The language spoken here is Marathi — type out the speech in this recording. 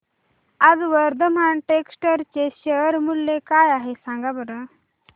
आज वर्धमान टेक्स्ट चे शेअर मूल्य काय आहे सांगा बरं